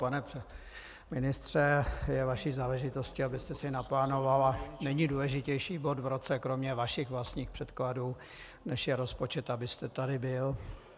Pane ministře, je vaší záležitostí, abyste si naplánoval, a není důležitější bod v roce, kromě vašich vlastních předkladů, než je rozpočet, abyste tady byl.